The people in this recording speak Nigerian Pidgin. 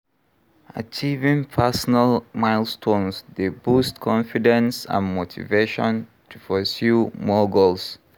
Achieving personal milestones dey boost confidence and motivation to pursue more goals.